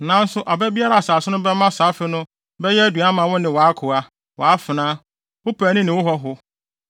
Nanso aba biara a asase no bɛma saa afe no bɛyɛ aduan ama wo ne wʼakoa, wʼafenaa, wo paani ne wo hɔho,